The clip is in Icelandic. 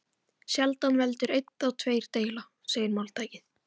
Sjaldan veldur einn þá tveir deila, segir máltækið.